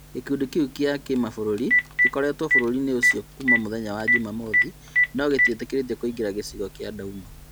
Gĩkundi kĩu gĩa kĩmabũrũri gĩkoretwo bũrũri-inĩ ũcio Kuma mũthenya wa Juma mothi nogĩtiĩtĩkĩrĩtio kũingĩra gĩcigo kia Douma